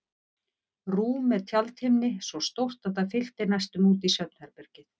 Rúm með tjaldhimni svo stórt að það fyllti næstum út í svefnherbergið.